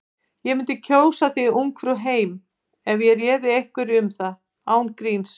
Ég mundi kjósa þig Ungfrú heim ef ég réði einhverju um það. án gríns.